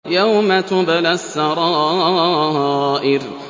يَوْمَ تُبْلَى السَّرَائِرُ